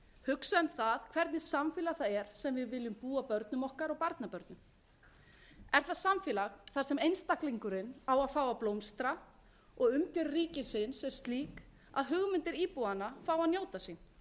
hugsa um það hvernig samfélag það er sem við viljum búa börnum okkar og barnabörnum er það samfélag þar sem einstaklingurinn á að fá að blómstra og umgjörð ríkisins er slík að hugmyndir íbúanna fái að njóta sín eða er það